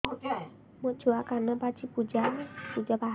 ମୋ ଛୁଆ କାନ ପାଚି ପୂଜ ବାହାରୁଚି